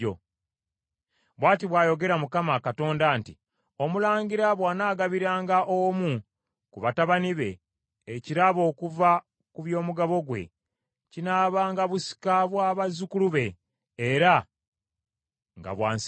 “ ‘Bw’ati bw’ayogera Mukama Katonda nti; Omulangira bw’anaagabiranga omu ku batabani be ekirabo okuva ku by’omugabo gwe, kinaabanga busika bwa bazzukulu be; era nga bwansikirano.